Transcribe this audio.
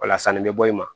Ola sanni bɛ bɔ i ma